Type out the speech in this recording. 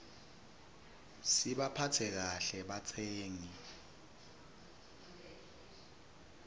sibaphatse kahle batsengi